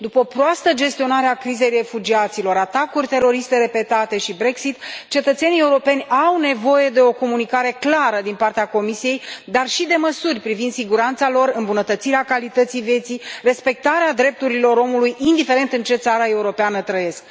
După o proastă gestionare a crizei refugiaților, atacuri teroriste repetate și Brexit, cetățenii europeni au nevoie de o comunicare clară din partea Comisiei, dar și de măsuri privind siguranța lor, îmbunătățirea calității vieții, respectarea drepturilor omului, indiferent în ce țară europeană trăiesc.